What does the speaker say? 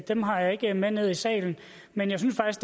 dem har jeg ikke med ned i salen men jeg synes